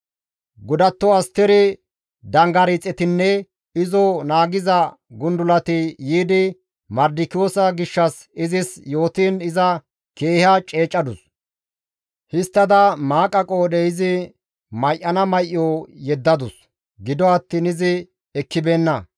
Godatto Asteri dangaxiretinne izo naagiza gundulati yiidi Mardikiyoosa gishshas izis yootiin iza keeha ceecadus; histtada maaqa qoodhe izi may7ana may7o yeddadus; gido attiin izi ekkibeenna.